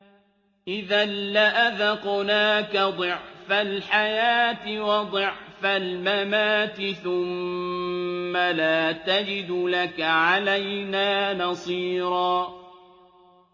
إِذًا لَّأَذَقْنَاكَ ضِعْفَ الْحَيَاةِ وَضِعْفَ الْمَمَاتِ ثُمَّ لَا تَجِدُ لَكَ عَلَيْنَا نَصِيرًا